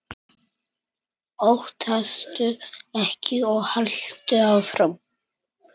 Óttastu ekki og haltu áfram!